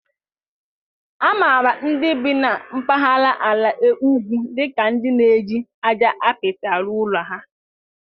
A maara ndị bi n'mpahara ala ugwu dika ka ndi na-eji aja apịtị arụ ụlọ ha.